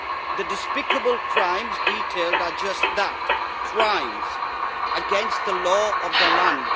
The despicable crimes detailed are just that crimes, against the law of the land.